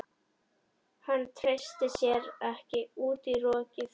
Hann treysti sér ekki út í rokið.